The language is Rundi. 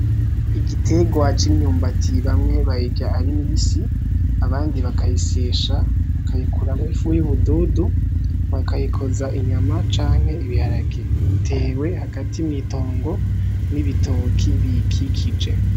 Igitegwa c'imyumbati, bamwe bayirya ari mibisi, abandi bakayisyesha bakayikuramwo ifu y'ubududu bakayikoza inyama canke ibiharage, itewe hagati mw'itongo n'ibitoki biyikikije.